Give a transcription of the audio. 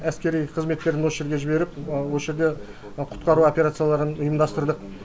әскери қызметтерін осы жерге жіберіп осы жерде құтқару операцияларын ұйымдастырдық